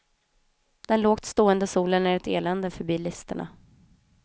Den lågt stående solen är ett elände för bilisterna.